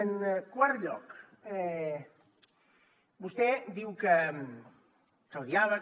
en quart lloc vostè diu que el diàleg